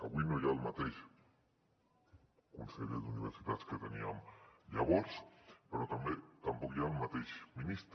avui no hi ha el mateix conseller d’universitats que teníem llavors però tampoc hi ha el mateix ministre